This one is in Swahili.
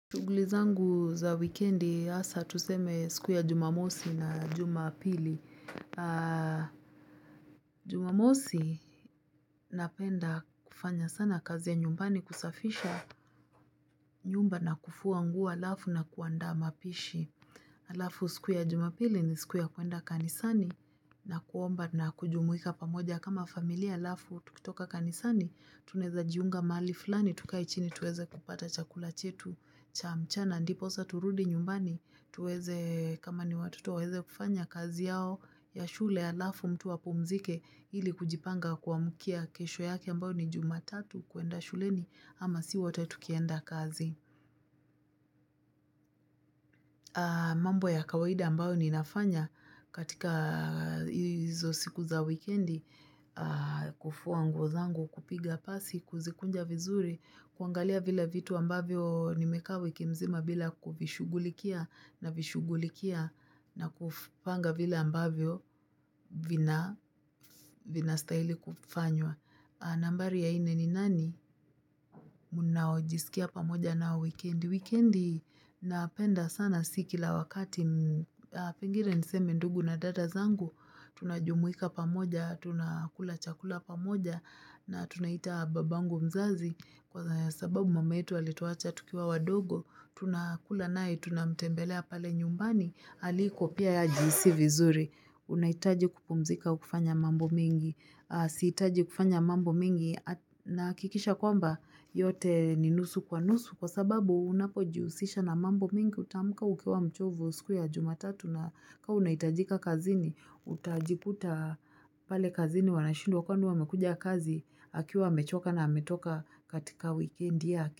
Shughuli zangu za wikendi hasa tuseme siku ya jumamosi na jumapili. Jumamosi napenda kufanya sana kazi ya nyumbani, kusafisha nyumba na kufua nguo alafu na kuandaa mapishi. Alafu siku ya jumapili ni siku ya kwenda kanisani na kuomba na kujumuika pamoja. Kama familia alafu, tukitoka kanisani, tunaweza jiunga mahali fulani, tukae chini tuweze kupata chakula chetu, cha mchana, ndiposa turudi nyumbani, tuweze kama ni watoto waweze kufanya kazi yao ya shule alafu mtu apumzike ili kujipanga kuamkia kesho yake ambao ni jumatatu kwenda shuleni ama sisi wote tukienda kazi. Mambo ya kawaida ambayo ninafanya katika hizo siku za wikendi, kufua nguo zangu, kupiga pasi, kuzikunja vizuri, kuangalia vile vitu ambavyo nimekaa wiki mzima bila kuvishugulikia navishughulikia kupanga vila ambavyo vinastahili kufanywa. Nambari ya nne ni nani? Mnaojisikia pamoja nao wikendi. Wikendi napenda sana si kila wakati. Pengine niseme ndugu na dada zangu. Tunajumuika pamoja, tunakula chakula pamoja na tunaita babangu mzazi. Kwa sababu mama yetu alituacha tukiwa wadogo, tunakula naye, tunamtembelea pale nyumbani, aliko pia yeye ajihisi vizuri, unahitaji kupumzika ukifanya mambo mingi sihitaji kufanya mambo mingi nahakikisha kwamba yote ni nusu kwa nusu kwa sababu unapojihusisha na mambo mingi, utaamka ukiwa mchovu siku ya jumatatu na kama unahitajika kazini, utajikuta pale kazini wanashindwa kwani huyu aamekuja kazi akiwa amechoka na ametoka katika wikendi yake.